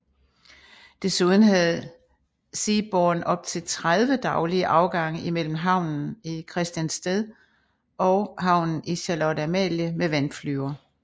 Desuden havde Seaborne op til 30 daglige afgange imellem havnen i Christiansted og havnen i Charlotte Amalie med vandflyver